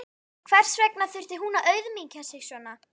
Hvers vegna þurfti hún að auðmýkja sig svona?